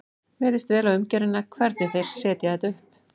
Mér líst vel á umgjörðina, hvernig þeir setja þetta upp.